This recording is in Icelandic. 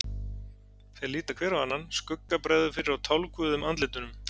Þeir líta hver á annan, skugga bregður fyrir á tálguðum andlitunum.